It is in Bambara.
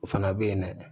O fana bɛ yen dɛ